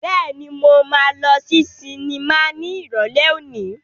Bẹ́ẹ̀ni, mo máa lọ sí sinimá ní Ìrọ̀lẹ́ òní.